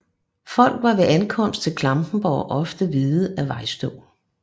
Folk var ved ankomst til Klampenborg ofte hvide af vejstøv